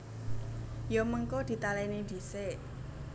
Ya mengko ditalèni dhisik